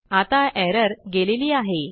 आता एरर गेलेली आहे